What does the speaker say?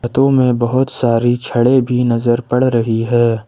छतो में बहुत सारी छड़े भी नजर पड़ रही है ।